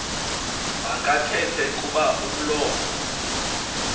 makathethe kuba umlomo